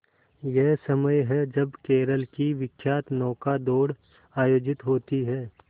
यही समय है जब केरल की विख्यात नौका दौड़ आयोजित होती है